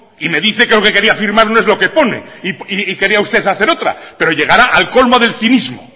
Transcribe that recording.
y me dice que lo que quería firmar no es lo que pone y quería usted hacer otra pero llegar al colmo del cinismo